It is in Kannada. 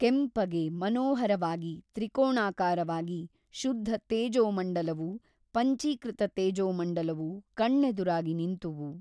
ಕೆಂಪಗೆ ಮನೋಹರವಾಗಿ ತ್ರಿಕೋಣಾಕಾರವಾಗಿ ಶುದ್ಧ ತೇಜೋಮಂಡಲವೂ ಪಂಚೀಕೃತ ತೇಜೋಮಂಡಲವೂ ಕಣ್ಣೆದುರಾಗಿ ನಿಂತುವು.